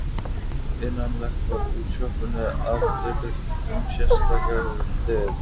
Innangengt var úr sjoppunni í afdrepið um sérstakar dyr.